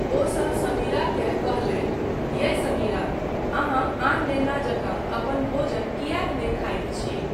ओसभ समीराकेँ कहलनि, यै समीरा, अहाँ आन नेना जकाँ अपन भोजन किएक नहि खाइत छी?